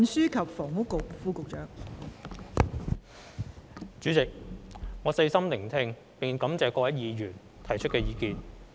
代理主席，我細心聆聽並感謝各位議員提出的意見。